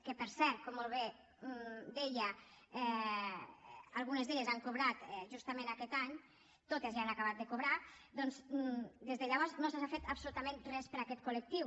que per cert com molt bé deia algunes han cobrat justament aquest any totes ja han acabat de cobrar doncs des de llavors no s’ha fet absolutament res per aquest col·lectiu